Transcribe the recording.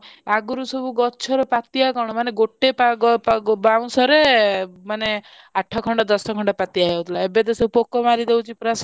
ଆଗରୁ ସବୁ ଗଛରୁ ପାତିଆ କଣ ଗୋଟେ ପାଗ ବାଉଁଶରେ ମାନେ ଆଠ ଖଣ୍ଡ ଦଶ ଖଣ୍ଡ ପାତିଆ ହେଇ ଯାଉଥିଲା ଏବେ ତ ସବୁ ପୋକ ମାରି ଦଉଛି ପୁରା ସରୁ।